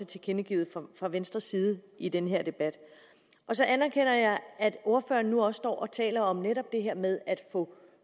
tilkendegivelse om fra venstres side i den her debat så anerkender jeg at ordføreren nu også står og taler om netop det her med at